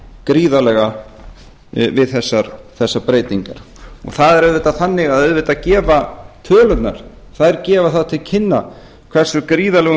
gríðarlega við þessar breytingar það er auðvitað þannig að auðvitað gefa tölurnar það til kynna hversu gríðarlegum